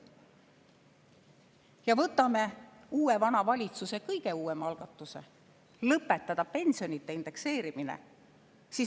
Ja võtame uue vana valitsuse kõige uuema algatuse lõpetada pensionide indekseerimine.